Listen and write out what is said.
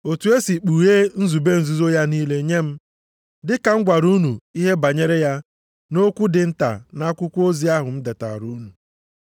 Otu e si kpughee nzube nzuzo ya niile nye m, dị ka m gwara unu ihe banyere ya nʼokwu dị nta nʼakwụkwọ ozi ahụ m detara unu.